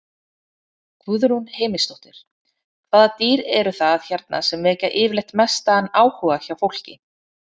Guðrún Heimisdóttir: Hvaða dýr eru það hérna sem vekja yfirleitt mestan áhuga hjá fólki?